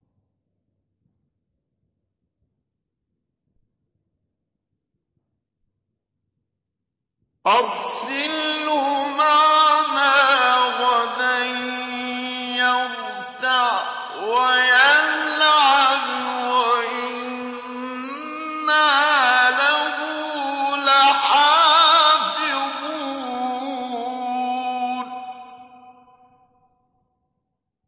أَرْسِلْهُ مَعَنَا غَدًا يَرْتَعْ وَيَلْعَبْ وَإِنَّا لَهُ لَحَافِظُونَ